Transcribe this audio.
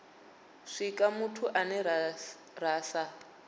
swika muthu ane ra sa